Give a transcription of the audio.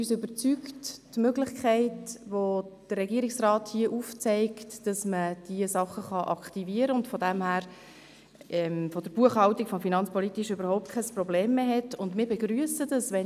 Uns überzeugt die Möglichkeit, die der Regierungsrat hier aufzeigt, damit diese Dinge aktiviert werden können und aus Sicht der Buchhaltung keine Probleme mehr bestehen.